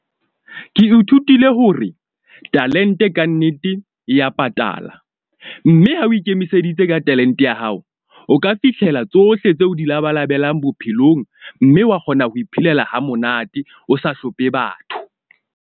Ke ithutile hore talent-e kannete, e ya patala, mme ha o ikemiseditse ka talent-e ya hao, o ka fihlela tsohle tseo o di labalabelang bophelong. Mme wa kgona ho iphelela ha monate, o sa hlomphe batho.